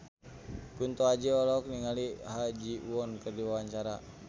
Kunto Aji olohok ningali Ha Ji Won keur diwawancara